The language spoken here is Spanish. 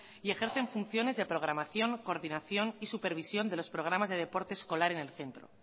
y ejercen funciones de programación coordinación y supervisión de los programas de deporte escolar en el centro